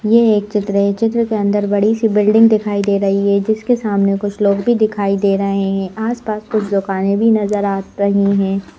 ये एक चित्र है चित्र के अंदर बड़ी सी बिल्डिंग दिखाई दे रही है जिसके सामने कुछ लोग भी दिखाई दे रहे हैं आसपास कुछ दुकानें भी नजर आ रही हैं।